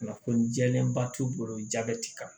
Kunnafoni jɛlen ba t'u bolo jaabɛti kama